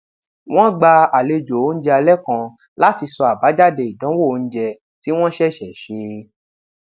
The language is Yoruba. wón gba àlejò oúnjẹ alẹ kan láti sọ àbájáde ìdánwò oúnjẹ tí wón ṣèṣè ṣe